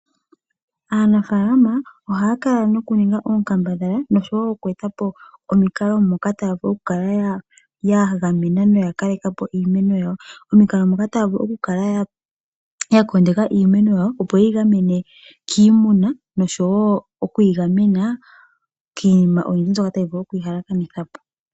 Aanafaalama ohaya kala nokuninga oonkambadhala nosho wo okweeta po omikalo moka taya vulu okukala ya gamena noya kaleka po iimeno yawo. Omikalo moka taya vulu okukala ya kondeka iimeno yawo opo yeyi gamene kiimuna nosho wo okuyi gamena kiinima oyindji mbyoka tayi vulu okuyi halakanitha po.